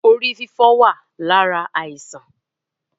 Orí fífọ́ wá lára àìsàn